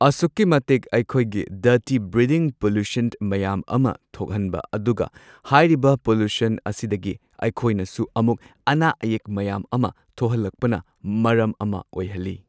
ꯑꯁꯨꯛꯀꯤ ꯃꯇꯤꯛ ꯑꯩꯈꯣꯏꯒꯤ ꯗꯔꯇꯤ ꯕ꯭ꯔꯤꯗꯤꯡ ꯄꯣꯜꯂꯨꯁꯟ ꯃꯌꯥꯝ ꯑꯃ ꯊꯣꯛꯍꯟꯕ ꯑꯗꯨꯒ ꯍꯥꯏꯔꯤꯕ ꯄꯣꯜꯂꯨꯁꯟ ꯑꯁꯤꯗꯒꯤ ꯑꯩꯈꯣꯏꯅꯁꯨ ꯑꯃꯨꯛ ꯑꯅꯥ ꯑꯌꯦꯛ ꯃꯌꯥꯝ ꯑꯃ ꯊꯣꯛꯍꯜꯂꯛꯄꯅ ꯃꯔꯝ ꯑꯃ ꯑꯣꯏꯍꯜꯂꯤ꯫